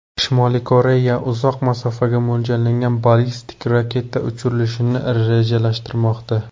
Shimoliy Koreya uzoq masofaga mo‘ljallangan ballistik raketa uchirilishini rejalashtirmoqda.